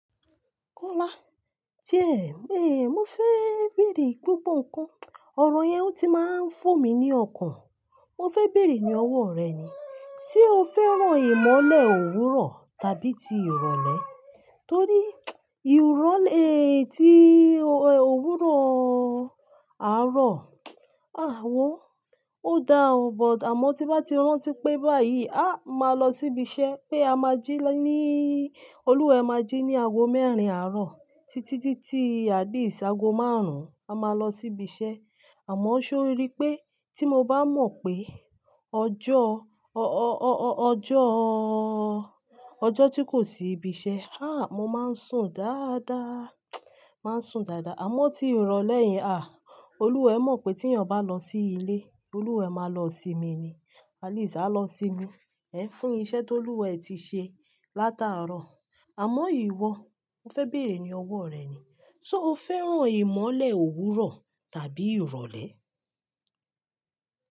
Kọ́lá, jẹ́, eh, mo fẹ́ bèèrè gbogbo ǹkan. Ọ̀rọ̀ yẹn ó ti máa ń fò mí ní ọkàn. Mo fẹ́ bèèrè ní ọwọ́ rẹ ni, ṣe o fẹ́ràn ìmọ́lẹ̀ òwúrọ̀ tàbí ti ìrọ̀lẹ́? Torí ìrọ́lẹ́ ti òwúrọ̀ àárọ̀, àáwọ̀ ó da ọ, but àmọ́ tí bá ti rántí pé báyìí, áà, máa lọ síbi iṣẹ́ pé a máa jí ní olúwarẹ́ máa jí ní ago mẹ́rin àárọ̀ títí dí tí atleast ìṣàgo márùn-ún, a máa lọ síbi iṣẹ́. Àmọ́ ṣé o rí pé tí mo bá mọ̀ pé ọjọ́, ọ-ọ-ọ-ọ-ọjọ́, ọjọ́ tí kò sí ibi iṣẹ́, háà, mo máa ń sùn dáadáa, máa ń sùn dáadáa. Àmọ́ tí ìrọ̀lẹ́ yẹn, à, olúwarẹ́ mọ̀ pé tí ènìyàn bá lọ sí ilé, olúwarẹ́ máa lọ sinmi ni. Atleast a lọ sinmi, ẹ́ fún iṣẹ́ t'olúwarẹ́ ti ṣe látàárọ̀. Àmọ́ ìwọ, mo fẹ́ bèèrè ní ọwọ́ rẹ ni, ṣe o fẹ́ràn ìmọ́lẹ̀ òwúrọ̀ tàbí ìrọ̀lẹ́?